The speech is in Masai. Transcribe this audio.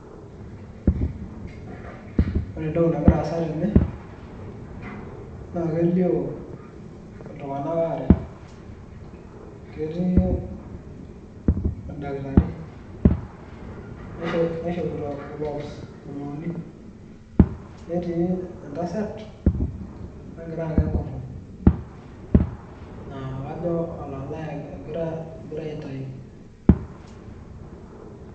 Ore entoki nagira aasa tene, naa kelio iltung'anak aare, ketii endaktari naishopito Gloves buluuni, netii entasat nagira ang'a enkutuk naa kajo olalae egirai aitayu.